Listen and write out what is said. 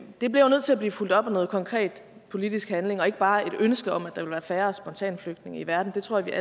det bliver jo nødt til at blive fulgt op af noget konkret politisk handling og ikke bare et ønske om at der ville være færre spontanflygtninge i verden det tror jeg